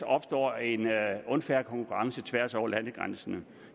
opstår en unfair konkurrence tværs over landegrænserne